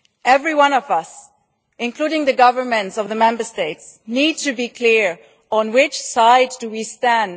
Every one of us, including the governments of the Member States, need to be clear on which side we stand.